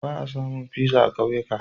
Ba a samun pizza a kauyuka.